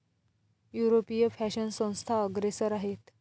यूरोपीय फॅशन संस्था अग्रेसर आहेत.